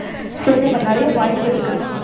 சேர அப்போ நிறைய வாய்ப்பு இருக்கு